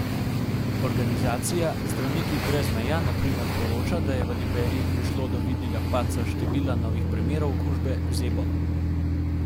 Organizacija Zdravniki brez meja na primer poroča, da je v Liberiji prišlo do vidnega padca števila novih primerov okužbe z ebolo.